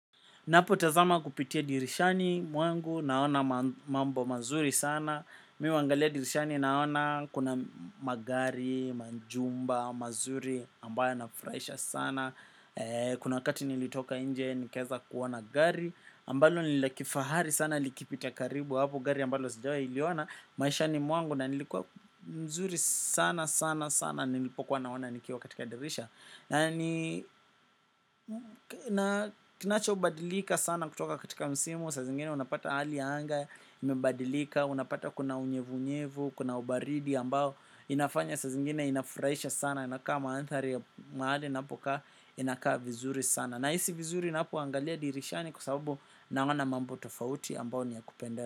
Napotazama kupitia dirishani mwangu naona mambo mazuri sana. Mi huangalia dirishani naona kuna magari, manjumba, mazuri ambayo nafraisha sana. Kuna wakati nilitoka inje nikeza kuoana gari. Ambalo ni la kifahari sana likipita karibu hapo gari ambalo sijawailiona. Maishani mwangu na nilikuwa mzuri sana sana sana nilipokuwa naona nikiwa katika dirisha. Na kinachobadilika sana kutoka katika msimu, sazingine unapata hali ya anga, imebadilika, unapata kuna unyevu unyevu, kuna ubaridi ambao, inafanya sa zingine inafuraisha sana, inakaa manthari ya mahali, ninapoka inakaa vizuri sana. Nahisi vizuri inapoangalia dirishani kwa sababu naona mambo tofauti ambao ni ya kupenda.